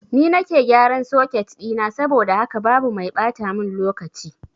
Ni nake gyaran soket ɗina saboda haka babu mai ɓata mun lokaci